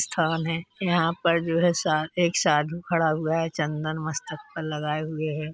स्थान है। यहाँ पर जो है सा एक साधू खड़ा हुआ है चन्दन मस्तक पर लगाए हुए है।